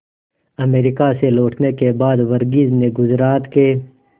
America से लौटने के बाद वर्गीज ने गुजरात के